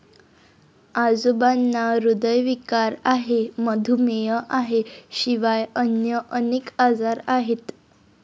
आजोबांना ह्रदयविकार आहे, मधुमेह आहे शिवाय अन्य अनेक आजार आहेत.